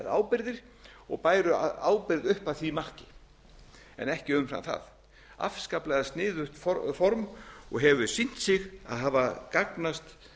ábyrgðir og bæru ábyrgð upp að því marki en ekki umfram það afskaplega sniðugt form og hefur sýnt sig að hafa gagnast